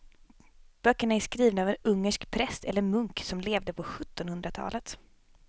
Böckerna är skrivna av en ungersk präst eller munk som levde på sjuttonhundratalet.